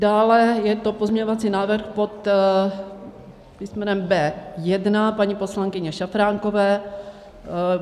Dále je to pozměňovací návrh pod písmenem B1 paní poslankyně Šafránkové.